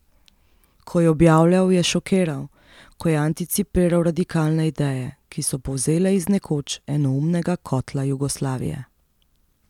Ko je objavljal, je šokiral, ko je anticipiral radikalne ideje, ki so polzele iz nekoč enoumnega kotla Jugoslavije ...